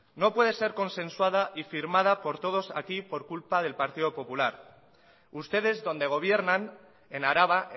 no puede ser consensuada y firmada por todos aquí por culpa del partido popular ustedes donde gobiernan en araba